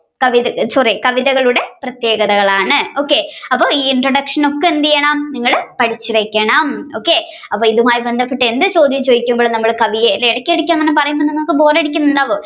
sorry കവിതകളുടെ പ്രത്യേകതകളാണ് അപ്പൊ ഈ introduction ഒക്കെ എന്തെയേണം നിങ്ങൾ പഠിച്ചുവെക്കണം okay അപ്പൊ ഇതുമായി ബന്ധപ്പെട്ട് എന്ത് ചോദ്യവും ചോയ്ക്കുമ്പോഴും നമ്മൾ കവിയെ അല്ലെ ഇടക്ക് ഇടക്ക് അങ്ങനെ പറയുമ്പോൾ നിങ്ങൾക്ക് bore അടിക്കുന്നുണ്ടാവും